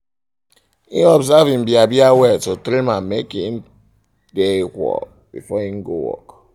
im observe im bia-bia well to trim ammake trim ammake e dae equal before im go work